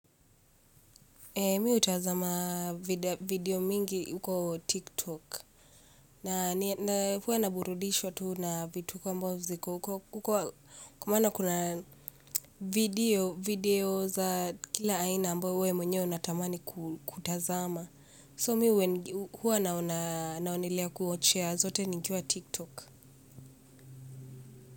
Mi hutazama video mingi huko tiktok. Na huwa naburudishwa tu na vituko ambao ziko huko. Kwa maana kuna video za kila aina ambayo wewe mwenyewe unatamani kutazama So mimi huwa naonelea kuwatch zote nikiwa tiktok.